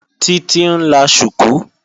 Títí ń la ṣùkú